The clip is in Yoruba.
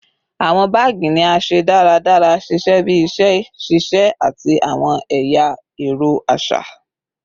Awọn baagi ni a ṣe daradara, ṣiṣẹ bi iṣẹ ṣiṣe ati awọn ẹya ẹrọ aṣa